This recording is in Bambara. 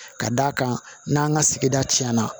Ka d'a kan n'an ka sigida tiɲɛna